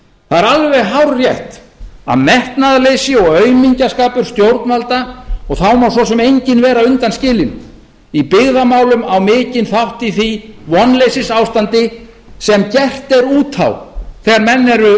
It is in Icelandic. það er alveg hárrétt að metnaðarleysi og aumingjaskapur stjórnvalda og þá má svo sem enginn vera undanskilinn í byggðamálum á mikinn þátt í því vonleysisástandi sem gert er út á þegar menn eru